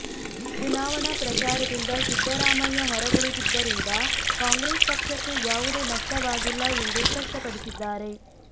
ಚುನಾವಣಾ ಪ್ರಚಾರದಿಂದ ಸಿದ್ದರಾಮಯ್ಯ ಹೊರಗುಳಿದಿದ್ದರಿಂದ ಕಾಂಗ್ರೆಸ್ ಪಕ್ಷಕ್ಕೆ ಯಾವುದೇ ನಷ್ಟವಾಗಿಲ್ಲ ಎಂದು ಸ್ಪಷ್ಪಪಡಿಸಿದ್ದಾರೆ